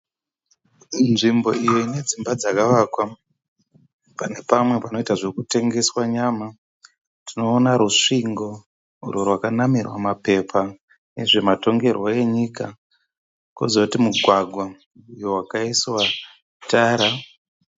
Nzvimbo iyo inedzimba dzakavakwa, pane pamwe panoita zvekutengeswa nyama. Tinoona rusvingo urwo rwakanamirwa mapepa ezvematongerwo enyika. Kozoti mugwagwa uyo wakaiswa tara.